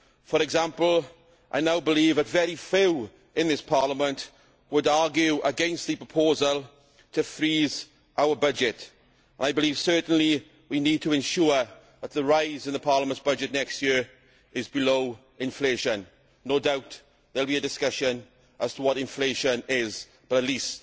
For example, I now believe that very few in this Parliament would argue against the proposal to freeze our budget. I believe certainly we need to ensure that the rise in the Parliament's budget next year is below inflation. No doubt there will be discussions as to what inflation is, but at least